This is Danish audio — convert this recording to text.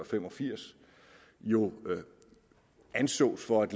fem og firs jo ansås for at